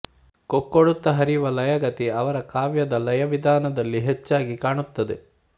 ಕೊಕ್ಕೊಡುತ್ತ ಹರಿಯುವ ಲಯಗತಿ ಅವರ ಕಾವ್ಯದ ಲಯವಿಧಾನದಲ್ಲಿ ಹೆಚ್ಚಾಗಿ ಕಾಣುತ್ತದೆ